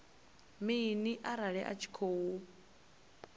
mini arali a tshi khou